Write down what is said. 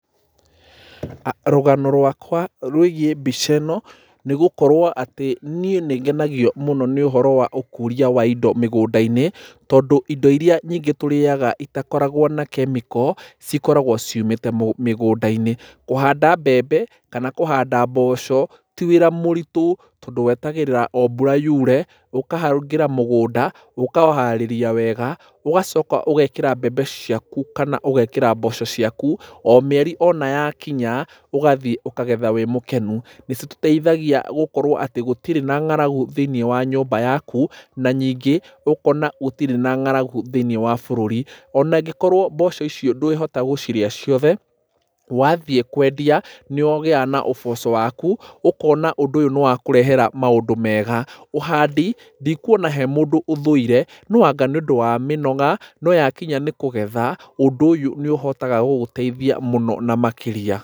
Rũgano rwakwa rwĩgiĩ mbica ĩno nĩ gũkorwo atĩ niĩ nĩ ngenagio mũno nĩ ũhoro wa ũkũria wa indo mĩgũnda-inĩ. Tondũ indo irĩa nyingĩ tũrĩaga itakoragwo na chemical cikoragwo ciumĩte mĩgũnda-inĩ. Kũhanda mbembe kana kũhanda mboco ti wĩra mũritũ, tondũ wetagĩrĩra mbura yure, ũkahangĩra mũgũnda, ũkaũharĩria wega, ũgacoka ũgekĩra mbembe ciaku kana ũgekĩra mboco ciaku. O mĩeri ona yakinya, ũgathiĩ ũkagetha wĩ mũkenu. Nĩ citeithagia gũkorwo atĩ gũtirĩ na ng'aragu thĩiniĩ wa nyũmba yaku. Na nyingĩ ũkona gũtirĩ na ng'aragu thĩiniĩ wa bũrũri. Ona ĩngĩkorwo mboco icio ndwĩhota gũcirĩa ciothe, wathiĩ kwendia nĩ ũgĩaga na ũboco waku, ũkona ũndũ ũyũ nĩ wakũrehera maũndũ mega. Ũhandi ndikuona he mũndũ ũthũire no anga nĩ ũndũ wa mĩnoga. No yakinya ni kũgetha, ũndũ ũyũ nĩ ũhotaga gũgũteithia mũno na makĩria.